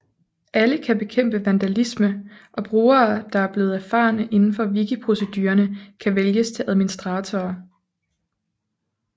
Alle kan bekæmpe vandalisme og brugere der er blevet erfarne indenfor wikiprocedurerne kan vælges til administratorer